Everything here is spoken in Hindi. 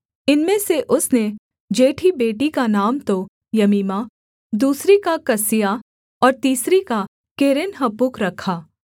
इनमें से उसने जेठी बेटी का नाम तो यमीमा दूसरी का कसीआ और तीसरी का केरेन्हप्पूक रखा